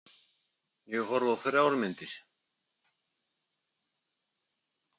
Ég horfði á þrjár myndir.